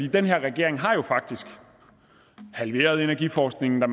den her regering har faktisk halveret energiforskningen da